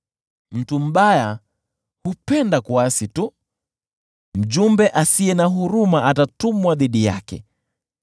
Mtu mbaya hupenda kuasi tu; mjumbe asiye na huruma atatumwa dhidi yake.